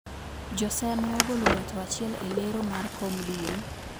Joseme ogolo ng`ato achiel e lero mar kom duong`